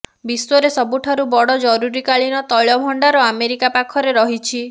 ବିଶ୍ୱରେ ସବୁଠାରୁ ବଡ ଜରୁରୀକାଳୀନ ତୈଳ ଭଣ୍ଡାର ଆମେରିକା ପାଖରେ ରହିଛି